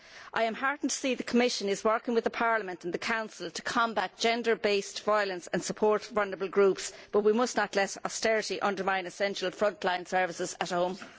I am heartened to see the Commission is working with Parliament and the Council to combat gender based violence and support vulnerable groups, but we must not let austerity undermine essential frontline services at home.